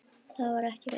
Það var ekki reynt.